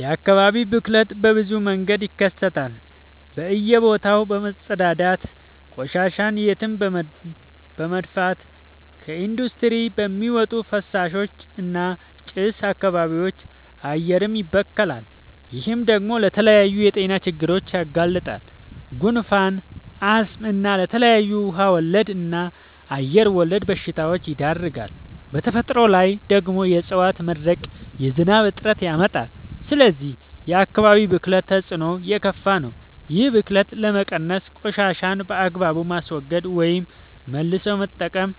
የአካባቢ ብክለት በብዙ መንገድ ይከሰታል በእየ ቦታው በመፀዳዳት፤ ቆሻሻን የትም በመድፍት፤ ከኢንዲስትሪ በሚወጡ ፍሳሾች እና ጭስ አካባቢም አየርም ይበከላል። ይህ ደግሞ ለተለያዩ የጤና ችግሮች ያጋልጣል። ጉንፋን፣ አስም እና ለተለያዩ ውሃ ወለድ እና አየር ወለድ በሽታወች ይዳርጋል። በተፈጥሮ ላይ ደግሞ የዕፀዋት መድረቅ የዝናብ እጥረት ያመጣል። ስለዚህ የአካባቢ ብክለት ተፅዕኖው የከፋ ነው። ይህን ብክለት ለመቀነስ ቆሻሻን በአግባቡ ማስወገድ ወይም መልሶ መጠቀም